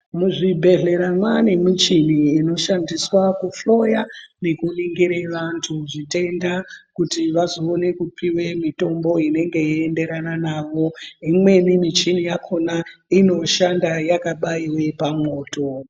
Muzvibhedhlera mwane muchini inoshandiswa kuhloya nekuningira vandu zvitenda kuti vazoone kupiwe mitombo inenge yeyienderana navo imweni michini yakona inoshanda yakabayiwe pamwoto.